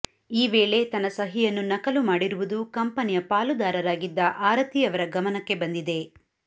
ಈ ವೇಳೆ ತನ್ನ ಸಹಿಯನ್ನು ನಕಲು ಮಾಡಿರುವುದು ಕಂಪೆನಿಯ ಪಾಲುದಾರರಾಗಿದ್ದ ಆರತಿ ಅವರ ಗಮನಕ್ಕೆ ಬಂದಿದೆ